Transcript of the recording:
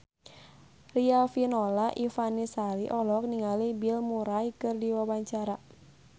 Riafinola Ifani Sari olohok ningali Bill Murray keur diwawancara